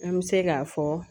An bɛ se k'a fɔ